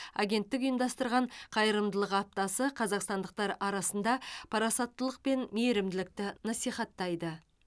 агенттік ұйымдастырған қайырымдылық аптасы қазақстандықтар арасында парасаттылық пен мейірімділікті насихаттайды